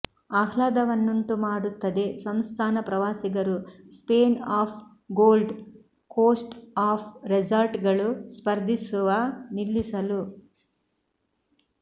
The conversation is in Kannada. ಆಹ್ಲಾದವನ್ನುಂಟುಮಾಡುತ್ತದೆ ಸಂಸ್ಥಾನ ಪ್ರವಾಸಿಗರು Spain of Gold Coast of ರೆಸಾರ್ಟ್ಗಳು ಸ್ಪರ್ಧಿಸುವ ನಿಲ್ಲಿಸಲು